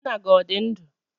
Nna gi odi ndu?